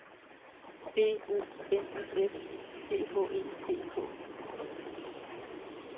B O N U S C H E C K